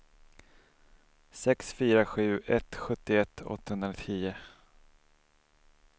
sex fyra sju ett sjuttioett åttahundratio